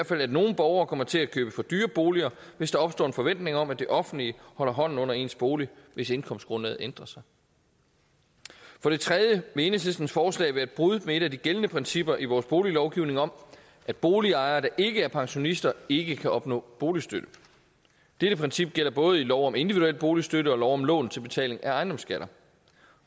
fald at nogle borgere kommer til at købe for dyre boliger hvis der opstår en forventning om at det offentlige holder hånden under ens bolig hvis indkomstgrundlaget ændrer sig for det tredje vil enhedslistens forslag være et brud med et af de gældende principper i vores boliglovgivning om at boligejere der ikke er pensionister ikke kan opnå boligstøtte dette princip gælder både i lov om individuel boligstøtte og lov om lån til betaling af ejendomsskatter